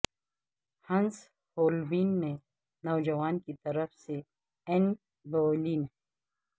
ہنس ہولبین نے نوجوان کی طرف سے این بویلین